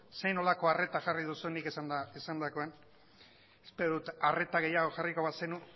zer nolako arreta jarri duzun nik esandakoan espero dut arreta gehiago jarriko bazenu